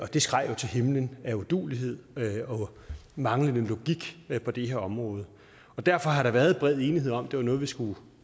det skreg jo til himlen af uduelighed og manglende logik på det her område derfor har der været bred enighed om at det var noget vi skulle